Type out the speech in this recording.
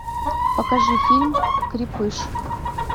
покажи фильм крепыш